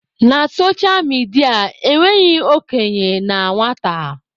Na socha midia, enweghị okenye na nwata.